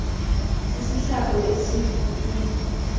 sisihlambo esikhu u